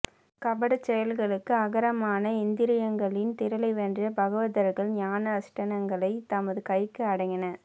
கபடச் செயல்களுக்கு ஆகரமான இந்திரியங்களின் திறலை வென்ற பாகவதர்கள் ஞான அனுஷ்டானங்களை தமது கைக்கு அடங்கின